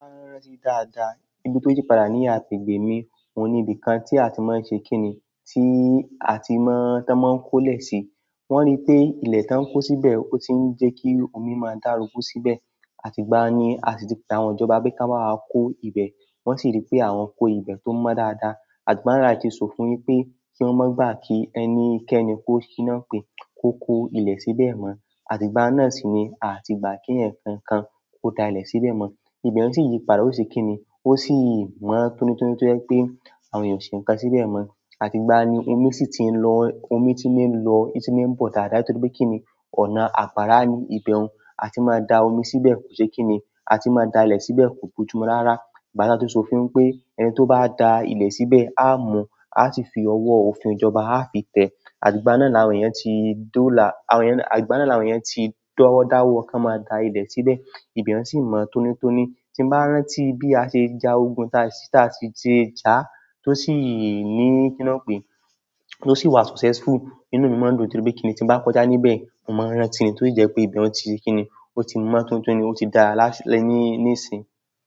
Ibi tó yí padà ní agbègbè mi. Ohun ni ibìkan tí a ti má ń ṣe kíni, tí a ti máa, tí wọ́n máa kó lẹ sí. Wọ́n rí pé ilẹ tí wọn kó síbẹ̀ ó ti n jẹ kí omi máa dagun síbẹ̀. Àti ìgbà yẹn a sì ti pè àwọn ìjọba pé kí wọ́n bá wa kó ibẹ, wọn sì rí pé àwọn kó ibẹ tó mọ dáadáa. Wọ́n ti sofin wípé kí wọn má gba kí ẹni kẹni ko kó ilẹ síbẹ̀ mọ. Àti gba yẹn náà sì ni àti gba kí èèyàn kankan ko dà ilẹ síbẹ̀ mọ. Ibẹ yẹn sì yí padà ó ṣe kíni ó sì mọ tónítóní tó jẹ wípé àwọn èèyàn ò ṣe nkán síbẹ̀ mọ. Àti gba yẹn ni omi sì tí ń lọ, omi ti ń lọ, omi ti ń bọ dáadáa torípé kíni ọ̀nà agbára ní ibẹ un. Àti má dà omi síbẹ̀ kò ṣe kíni, àti má dà ilẹ síbẹ̀ kò bójúmu rárá. Ìgbà tí a ti sofin wípé ẹni tó bá dà ilẹ síbẹ̀ a mú, a sì fi ọwọ òfin ìjọba a fi tẹ. Àti gba náà ni àwọn ènìyàn ti dọ́là, àwọn ènìyàn, àti gba náà ni àwọn ènìyàn ti dọwọ dawọ kan máa dà ilẹ síbẹ̀. Ibẹ yẹn sì mọ tónítóní, tí n bá rántí bí a ṣe jà ogun tí a sì ṣe jà tí o sì ní kina pé, ó sì wà successful. Inú mi mọ ndu torípé kíni tí n bá kọjá níbẹ̀ mo má ń rántí ni tí o sì jẹ pé ibẹ un ti ṣe kíni o ti mọ tónítóní ó ti dára nísìn.